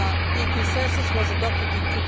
The consensus was adopted in